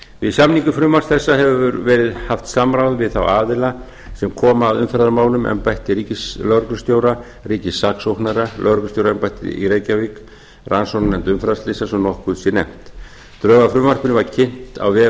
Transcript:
við samningu frumvarps þessa hefur verið haft samráð við þá aðila sem koma að umferðarmálum embætti ríkislögreglustjóra ríkissaksóknara lögreglustjóraembættið í reykjavík og rannsóknarnefnd umferðarslysa svo nokkuð sé nefnt drög að frumvarpinu var kynnt á vegum